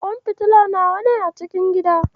Kwan fitila nawa ne a cikin gidan?